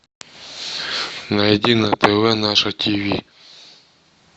найди на тв наше тиви